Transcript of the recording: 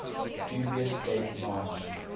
dubious date march